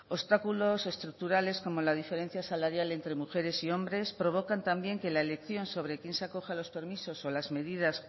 obstáculos estructurales como la diferencia salarial entre mujeres y hombres provocan también que la elección sobre quién se acoge a los permisos o a las medidas